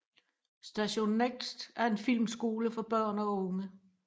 Station Next er en filmskole for børn og unge